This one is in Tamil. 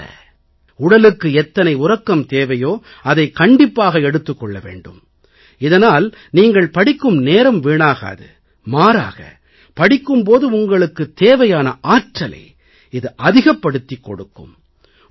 அப்படி அல்ல உடலுக்கு எத்தனை உறக்கம் தேவையோ அதைக் கண்டிப்பாக எடுத்துக் கொள்ள வேண்டும் இதனால் நீங்கள் படிக்கும் நேரம் வீணாகாது மாறாக படிக்கும் போது உங்களுக்குத் தேவையான ஆற்றலை இது அதிகப்படுத்திக் கொடுக்கும்